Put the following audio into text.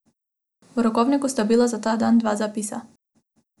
V rokovniku sta bila za ta dan dva zapisa.